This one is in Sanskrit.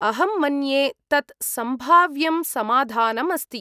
अहं मन्ये तत् सम्भाव्यं समाधानम् अस्ति।